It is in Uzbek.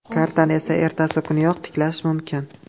Kartani esa ertasi kuniyoq tiklash mumkin.